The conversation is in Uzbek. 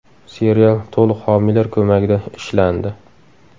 Serial to‘liq homiylar ko‘magida ishlandi ...”.